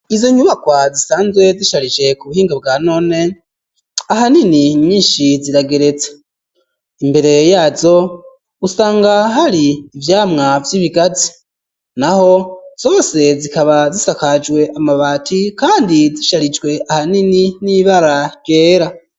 Izo nyubakwa zisanzwe zisharije ku buhinga bwa none ahanini nyishi zirageretsa imbere yazo usanga hari ivyamwa vy'ibigazi naho zose zikaba zisakajwe amabati kandi zisharijwe ahanini n'ibara ryera